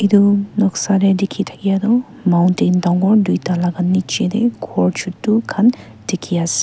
etu noksa teh dekhi thakia tu mountain dangor dui ta laga nicche teh ghor chotu khan dikhi ase.